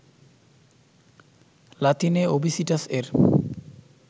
লাতিনে ওবিসিটাস এর